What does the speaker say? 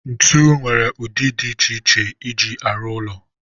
ntu nwere ụdị dị iche iche eji arụ ụlọ